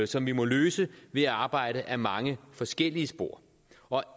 som vi må løse ved at arbejde ad mange forskellige spor og